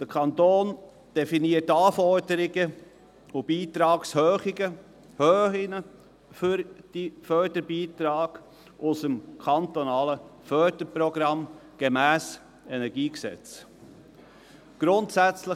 Der Kanton definiert Anforderungen und Beitragshöhen für die Förderbeiträge aus dem kantonalen Förderprogramm gemäss dem Kantonalen Energiegesetz (KEnG).